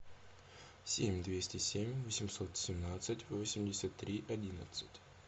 семь двести семь восемьсот семнадцать восемьдесят три одиннадцать